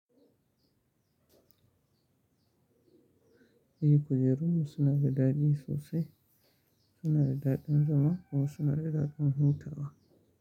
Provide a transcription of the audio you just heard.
Eh kujerunmu suna da daɗi sosai, suna da daɗin zama kuma suna da daɗin hutawa.